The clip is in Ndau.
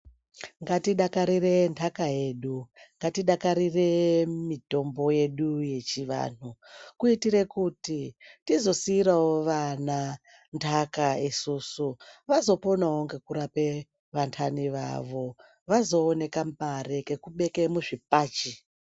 Ngatidakarire ntaka yedu ngatidakarire mitombo yedu yechivanhu kuitire kuti tizosiirawo vana ntaka isusu, vazoponawo ngekurape vantani vavo. Vazoone kamare kekubeke muzvibhachi.